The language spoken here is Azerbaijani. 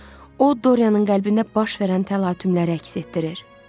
O Doryanın qəlbində baş verən təlatümləri əks etdirir.